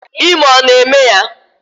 Ime ọ na eme ya?